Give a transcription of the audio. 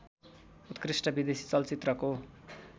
उत्कृष्ट विदेशी चलचित्रको